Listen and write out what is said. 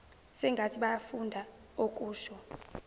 sengathi bayafunda okusho